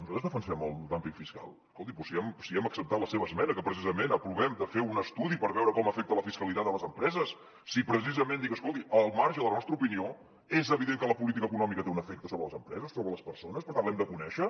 nosaltres defensem el dúmping fiscal escolti doncs si hem acceptat la seva esmena en què precisament aprovem de fer un estudi per veure com afecta la fiscalitat a les empreses si precisament dic escolti al marge de la nostra opinió és evident que la política econòmica té un efecte sobre les empreses sobre les persones per tant l’hem de conèixer